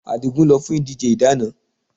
Adigun lọ fún ìdíje ìdáná